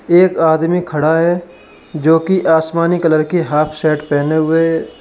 एक आदमी खड़ा है जो कि आसमानी कलर की हाफ शर्ट पहने हुए है।